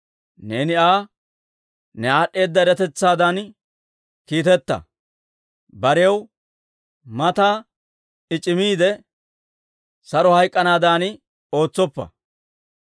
Neeni Aa ne aad'd'eeda eratetsaadan kiiteta; barew mata I c'imiide saro hayk'k'anaadan ootsoppa.